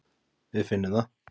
Við finnum það.